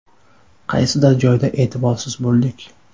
Qaysidir joyda e’tiborsiz bo‘ldik.